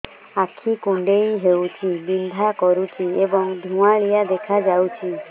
ଆଖି କୁଂଡେଇ ହେଉଛି ବିଂଧା କରୁଛି ଏବଂ ଧୁଁଆଳିଆ ଦେଖାଯାଉଛି